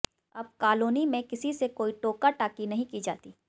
अब कालोनी में किसी से कोई टोका टाकी नहीं की जाती